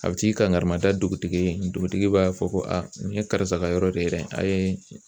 A bɛ t'i kankari mada dugutigi ye dugutigi b'a fɔ ko nin ye karisa ka yɔrɔ de ye dɛ a ye